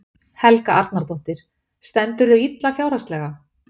Helga Arnardóttir: Stendurðu illa fjárhagslega?